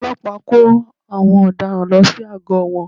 Àwọn ọlọ́pàá kó àwọn ọ̀daràn lọ sí àgọ́ wọn